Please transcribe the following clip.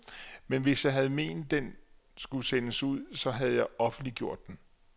Men hvis jeg havde ment den skulle sendes ud, så have jeg offentliggjort den.